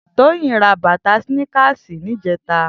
Toyin rà bàtà snìkásí nijètá